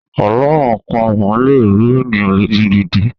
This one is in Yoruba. Àlọ́ àpamọ̀ lè rú ènìyàn lójú gidi.